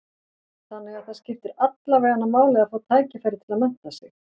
Þannig að það skiptir alla veganna máli að fá tækifæri til að mennta sig?